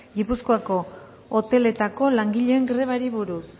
gipuzkoako hoteletako langileen grebari buruz